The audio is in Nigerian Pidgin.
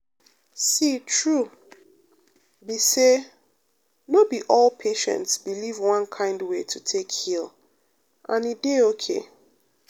see true um be say no be all patients believe one kind way to take heal and e dey okay.